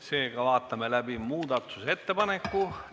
Seega vaatame läbi muudatusettepaneku.